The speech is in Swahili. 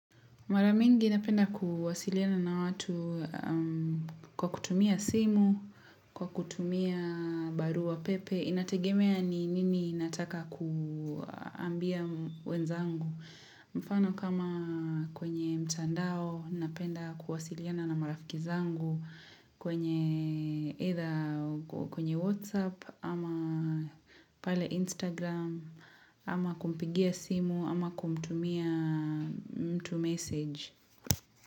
Mara mingi napenda kuwasiliana na watu kwa kutumia simu, kwa kutumia baruapepe inategemea ni nini nataka kuambia wenzangu. Mfano kama kwenye mtandao napenda kuwasiliana na marafiki zangu kwenye WhatsApp ama pale Instagram ama kumpigia simu ama kumtumia mtu message.